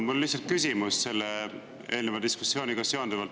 Mul on lihtsalt küsimus eelneva diskussiooniga seonduvalt.